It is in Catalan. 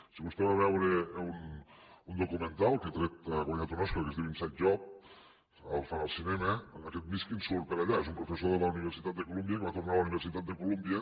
si vostè va a veure un documental que ha guanyat un oscar que es diu inside job el fan al cinema aquest mishkin surt per allà és un professor de la universitat de columbia que va tornar a la universitat de columbia